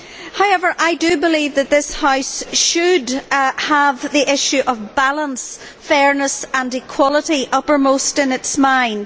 However, I do believe that this House should have the issue of balance, fairness and equality uppermost in its mind.